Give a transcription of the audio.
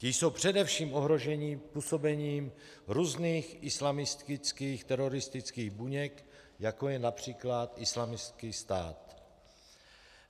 Ti jsou především ohroženi působením různých islamistických teroristických buněk, jako je například Islámský stát.